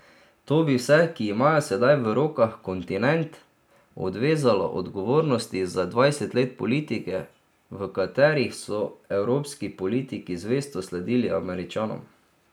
To bi vse, ki imajo sedaj v rokah kontinent, odvezalo odgovornosti za dvajset let politike, v kateri so evropski politiki zvesto sledili Američanom.